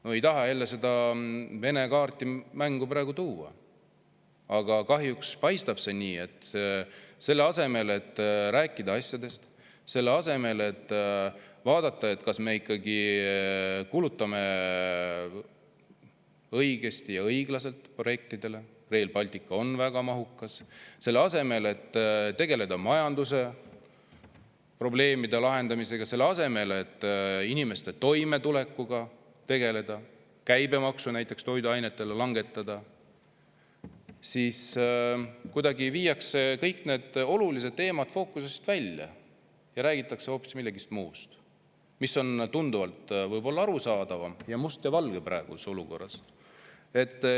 No ei taha jälle seda Vene kaarti mängu tuua, aga kahjuks paistab see nii: selle asemel, et rääkida asjadest, selle asemel, et vaadata, kas me ikkagi kulutame õigesti ja õiglaselt projektidele – Rail Baltic on väga mahukas –, selle asemel, et tegeleda majandusprobleemide lahendamisega, selle asemel, et inimeste toimetulekuga tegeleda, näiteks toiduainete käibemaksu langetada, viiakse kõik need olulised teemad kuidagi fookusest välja ja räägitakse hoopis millestki muust, mis on võib-olla tunduvalt arusaadavam ning praeguses olukorras mustvalgelt.